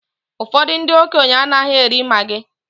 Ụfọdụ ndị okenye anaghị eri maggi